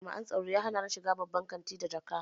Jami'an tsaro ya hanani shiga babban kantin da jakata.